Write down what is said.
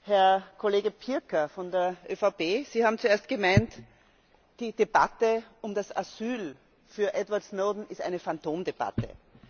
Herr Kollege Pirker von der ÖVP, Sie haben zuerst gemeint, die Debatte um das Asyl für Edward Snowden ist eine Phantomdebatte.